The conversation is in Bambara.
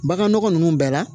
Baganɔgɔ ninnu bɛɛ la